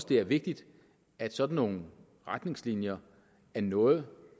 det er vigtigt at sådan nogle retningslinjer er noget